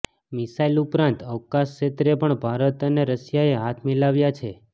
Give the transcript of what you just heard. missile ઉપરાંત અવકાશ ક્ષેત્રે પણ ભારત અને રશિયાએ હાથ મિલાવ્યા છે